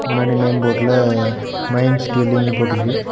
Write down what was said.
முன்னாடி நேம் போர்டுல மைன்ஸ் டிவில்லிங்க்னு போட்ருக்கு.